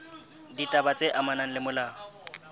ditaba tse amanang le molao